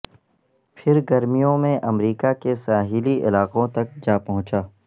پھر گرمیوں میں امریکہ کے ساحلی علاقوں تک جا پہنچا